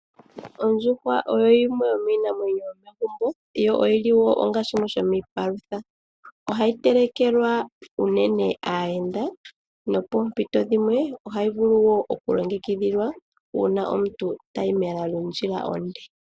Ondjuhwa oyo yimwe yomiinamwenyo yomegumbo, yo oyili wo onga shimwe shomiipalutha. Ohayi telekelwa unene aayenda, nopoompito dhimwe, ohayi vulu wo oku longekidhilwa una omuntu tayi mela lyondjila onde.